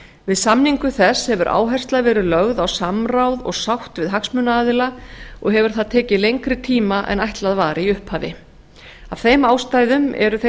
við samningu þess hefur áhersla verið lögð á samráð og sátt við hagsmunaaðila og hefur það tekið lengri tíma en ætlað var í upphafi af þeim ástæðum eru þeir